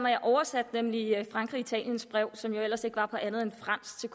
jeg oversatte nemlig frankrig og italiens brev til som jo ellers ikke var på andet end fransk så